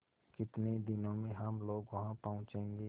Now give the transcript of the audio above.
कितने दिनों में हम लोग वहाँ पहुँचेंगे